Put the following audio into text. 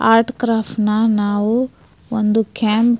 Art craft ನ ನಾವು ಒಂದು ಕ್ಯಾಂಪ್ .